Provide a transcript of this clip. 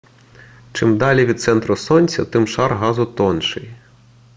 чим далі від центру сонця тим шар газу тонший